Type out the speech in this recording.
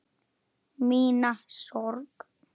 Mína sorg.